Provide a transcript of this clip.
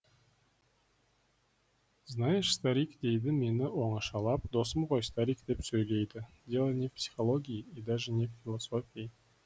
знаешь старик дейді мені оңашалап досым ғой старик деп сөйлейді дело не в психологии и даже не в философии